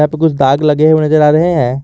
तो कुछ दाग लगे हुए नजर आ रहे है।